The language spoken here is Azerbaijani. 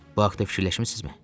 Bu haqda fikirləşmisizmi?